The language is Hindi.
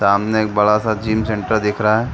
सामने एक बड़ा-सा जिम सेंटर दिख रहा है।